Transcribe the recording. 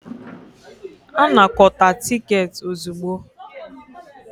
Anakọta tiketi ozugbo.